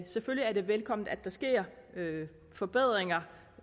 selvfølgelig er det velkomment at der sker forbedringer